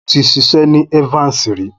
Mo ti ṣiṣẹ́ ni Evans rí.